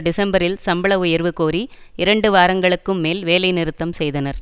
டிசம்பரில் சம்பள உயர்வு கோரி இரண்டு வாரங்களுக்கும் மேல் வேலை நிறுத்தம் செய்தனர்